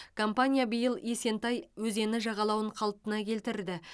компания биыл есентай өзені жағалауын қалпына келтірді